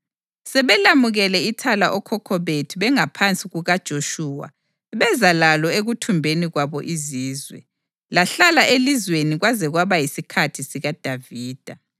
Sebelamukele ithala okhokho bethu bengaphansi kukaJoshuwa beza lalo ekuthumbeni kwabo izizwe. Lahlala elizweni kwaze kwaba yisikhathi sikaDavida,